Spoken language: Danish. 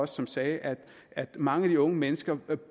som sagde at mange af de unge mennesker